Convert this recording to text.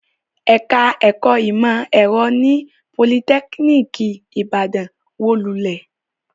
Ẹ̀ka-ẹ̀kọ́ ìmọ̀-ẹ̀rọ ní Politẹ́kíníkì Ìbàdàn wó lulẹ̀.